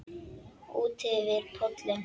Útyfir pollinn